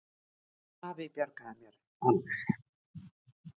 Afi bjargaði mér alveg.